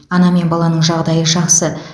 ана мен баланың жағдайы жақсы